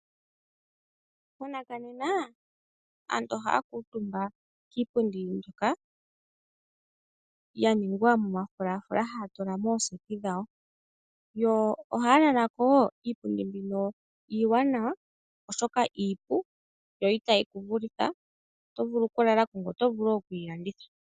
Monena aantu ohaya kuutumba kiipundi mbyoka ya ningwa momafulafula haya tula mooseti dhawo, yo ohaya lala ko wo. Iipundi mbika iiwanawa, oshoka iipu yo itayi ku vulitha. Oto vulu okulala ko ngoye oto vulu okuyi landitha.